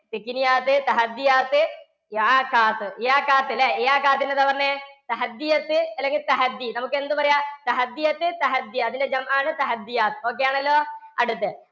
ല്ലേ? എന്താപറഞ്ഞു? അല്ലെങ്കില്‍ നമുക്കെന്തും പറയാം. അതിന്‍ടെ ആണ് ok ആണല്ലോ? അടുത്തത്‌